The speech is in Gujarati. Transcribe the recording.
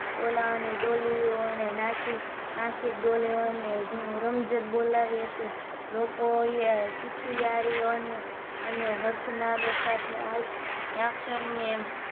બોલાવવાની ડોલીઓ અને નાસી નાસિક ડોલીઓ ને રમઝટ બોલાવી હતી લોકોએ ચિચયાળીઓ અને અને હર્ષનાદ સાથે આ ક્ષણને